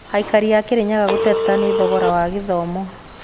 Aikari a Kirinyaga gũteta nĩ thogora wa gĩthomo